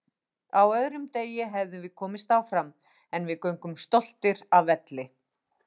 Á öðrum degi hefðum við komist áfram, en við göngum stoltir af velli